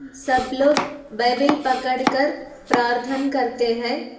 सब लोग बाईबिल पकड़ कर प्राधन करते हैं।